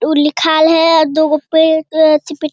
to लिख़ल है और दू गो पेज चिपक --